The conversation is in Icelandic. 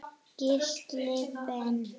Gísli Ben.